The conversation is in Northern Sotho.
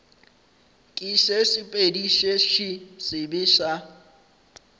ke sesepediši se sebe sa